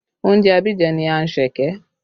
Oúnjẹ Abidjan ni anṣẹ̀kẹ́